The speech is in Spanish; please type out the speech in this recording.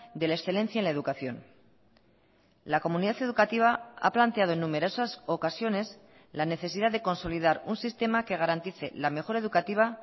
de la excelencia en la educación la comunidad educativa a planteado en numerosas ocasiones la necesidad de consolidar un sistema que garantice la mejora educativa